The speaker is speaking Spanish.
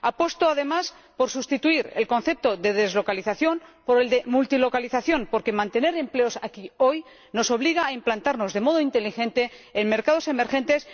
Apuesto, además, por sustituir el concepto de deslocalización por el de multilocalización, porque mantener empleos aquí hoy nos obliga a implantarnos, de modo inteligente, en mercados emergentes.